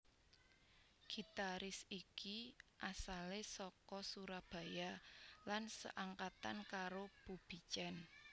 Gitaris iki asale saka Surabaya lan seangkatan karo Bubi Chen